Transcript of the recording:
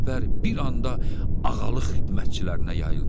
Bu xəbər bir anda ağalıq xidmətçilərinə yayıldı.